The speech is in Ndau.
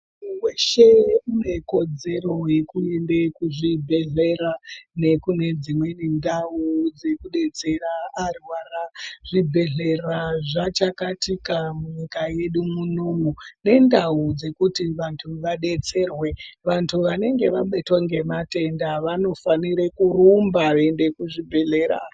Muntu weshe une kodzero yekuenda kuzvibhedhlera nekune dzimweni ndau dzekubetsera arwara. Zvibhedhlera zvachakatika munyika yedu munomu nendau dzekuti vanhu vabetserwe, vantu vanenge vabatwa ngematenda vanofanire kurumba veienda kuzvibhedhlera.